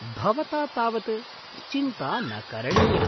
भवता तावत् चिन्ता न करणीया!